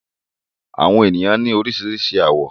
Àwọn ènìyàn ní oríṣiríṣi àwọ̀.